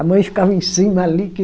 A mãe ficava em cima ali, que...